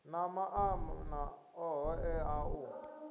na maanḓa oṱhe a u